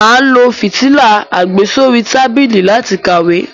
Mà á lo fìtílà àgbésórí tábìlì láti kàwé.